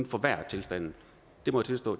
forværre tilstanden jeg må tilstå